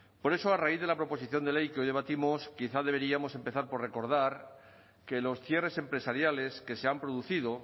por eso a raíz de la proposición de ley que hoy debatimos quizá deberíamos empezar por recordar que los cierres empresariales que se han producido